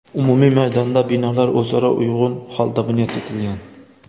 Umumiy maydonda binolar o‘zaro uyg‘un holda bunyod etilgan.